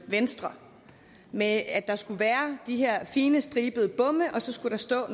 venstre med at der skulle være de her fine stribede bomme og så skulle der stå